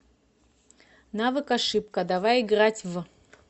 навык ошибка давай играть в